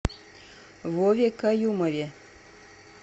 вове каюмове